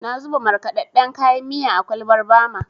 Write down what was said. Na zuba markaɗaɗɗen kayan miya a kwalbar Bama.